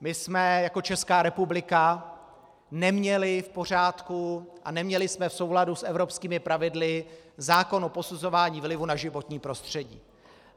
My jsme jako Česká republika neměli v pořádku a neměli jsme v souladu s evropskými pravidly zákon o posuzování vlivu na životní prostředí.